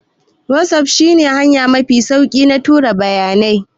WhatsApp shi ne hanya mafi sauki na tura bayanai